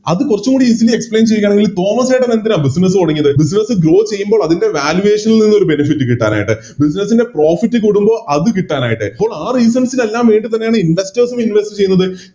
അത് കുറച്ചുടി Explain ഈ തോമസ്സേട്ടനെന്തിനാ Business തൊടങ്ങിയത് Business grow ചെയ്യുമ്പോ അതിൻറെ Valuation ഉള്ളൊരു Benefit കിട്ടാനായിട്ട് Business ൻറെ Profit വരുമ്പോ അത് കിട്ടാനായിട്ട് അപ്പൊ ആ Reasons ല് എല്ലാം വേണ്ടി തന്നെയാണ് Investors നെ Invest ചെയ്ത്